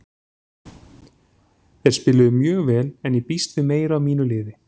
Þeir spiluðu mjög vel en ég býst við meiru af mínu liði.